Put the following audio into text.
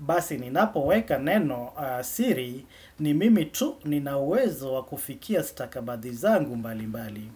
Basi ninapoweka nenosiri ni mimi tu ninawezo wakufikia stakabadhi zangu mbali mbali.